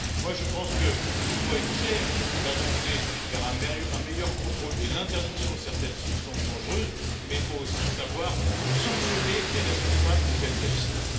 Je pense que nous devons être fiers d'avancer vers un meilleur contrôle et l'interdiction de certaines substances dangereuses, mais il faut aussi savoir sanctionner les responsables de tels agissements.